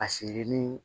A siri ni